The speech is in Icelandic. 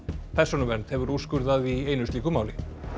persónuvernd hefur úrskurðað í einu slíku máli